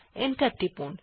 enter টিপুন